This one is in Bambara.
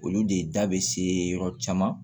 Olu de da bɛ se yɔrɔ caman